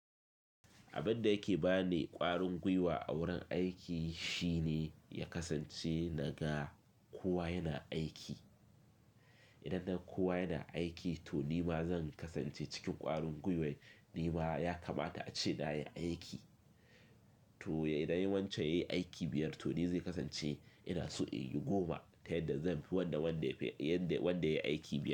Abin da yake ba ni ƙwarin gwiwa a wurin aiki shine ya kasance na ga kowa yana aiki. Idan naga kowa yana aiki, to ni ma zan kasance cikin ƙwarin gwiwar. Ni ma ya kamata a ce na yi aiki. To idan yawancan ya yi aiki biyar, to ni zai kasance ina so in yi goma ta yadda zan fi wanda wanda ya yi aiki biyar.